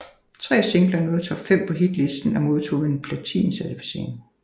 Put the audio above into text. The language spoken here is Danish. Tre singler nåede top fem på hitlisten og modtog en platin certificering